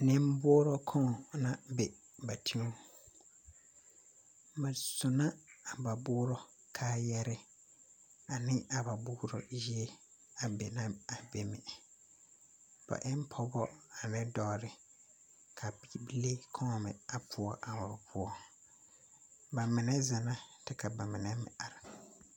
Nemboorɔ koŋ na be ba tewu na suna na ba boorɔ kaayare ane a ba boorɔ ehe be na a be mine ba e pɔgebo a dɔɔre ka bibili kao me poɔ ba mine zina ka ba mine meŋ are.